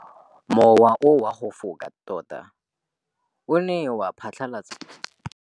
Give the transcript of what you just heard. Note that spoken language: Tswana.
Mowa o wa go foka tota o ne wa phatlalatsa maru.